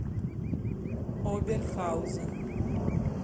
оберхаузен